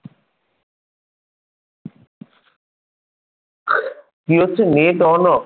কি হচ্ছে net on of